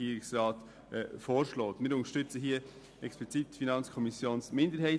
Wir unterstützen explizit die FiKo-Minderheit.